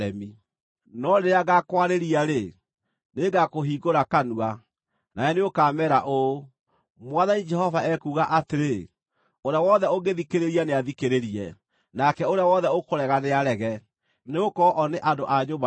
No rĩrĩa ngaakwarĩria-rĩ, nĩngakũhingũra kanua, nawe nĩũkameera ũũ, ‘Mwathani Jehova ekuuga atĩrĩ.’ Ũrĩa wothe ũngĩthikĩrĩria nĩathikĩrĩrie, nake ũrĩa wothe ũkũrega nĩarege; nĩgũkorwo o nĩ andũ a nyũmba ya ũremi.